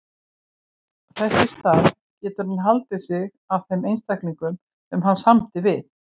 Þess í stað getur hann haldið sig að þeim einstaklingum sem hann samdi við.